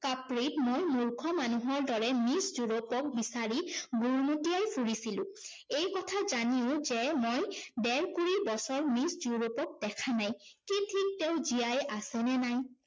কাপ্ৰিত মই মূৰ্খ মানুহৰ দৰে মিছ ড্য়ুৰপক বিচাৰি ঘুৰ্মুতিয়াই ফুৰিছিলো। এই কথা জানিও যে মই ডেৰকুৰি বছৰ মিছ ড্য়ুৰপক দেখা নাই, কি ঠিক তেওঁ জীয়াই আছে নে নাই?